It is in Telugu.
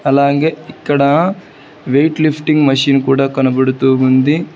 అలాగే ఇక్కడ వెయిట్ లిఫ్టింగ్ మెషిన్ కూడా కనబడుతూ ఉంది.